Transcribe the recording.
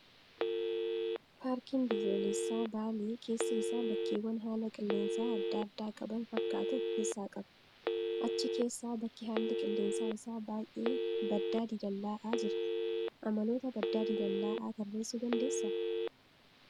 Paarkiin biyyoolessaa baalee keessi isaa bakkeewwan haala qilleensaa adda addaa qaban fakkaatu of keessaa qaba. Achi keessaa bakki haalli qilleensa isaa baay'ee baddaa diilallaa'aa jira. Amaloota baddaa diilallaa'aa tarreessuu dandeessaa?